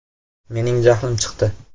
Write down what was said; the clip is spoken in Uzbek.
Mening jahlim chiqdi.